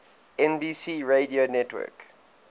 nbc radio network